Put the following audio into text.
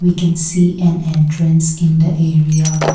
we can see an entrance in the area.